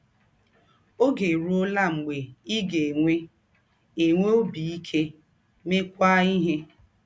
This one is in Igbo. Oge erụọla mgbe ị ga - enwe “ enwe “ ọbi ike, meekwa ihe. ”